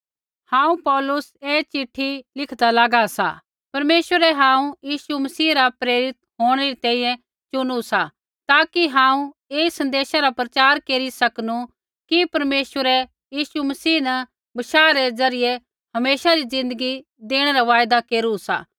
हांऊँ पौलुस ऐ चिट्ठी लिखदा लागा सा परमेश्वरै हांऊँ यीशु मसीह रा प्रेरित होंणै री तैंईंयैं चुनु सा ताकि हांऊँ ऐई सन्देशा रा प्रचार केरी सकनू कि परमेश्वरै यीशु मसीह न बशाह रै ज़रियै हमेशा री ज़िन्दगी देणै रा वायदा केरू सा